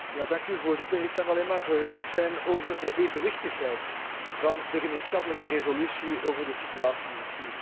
Voorzitter, ik kan alleen maar verheugd zijn over de evenwichtigheid van de gemeenschappelijke resolutie over de situatie in Syrië.